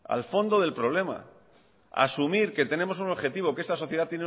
al fondo del problema asumir que tenemos un objetivo que esta sociedad